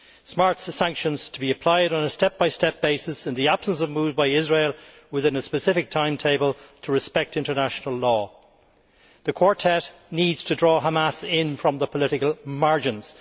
Smart sanctions to be applied on a step by step basis in the absence of moves by Israel, within a specific timetable, to respect international law. The Quartet needs to draw Hamas in from the political margins.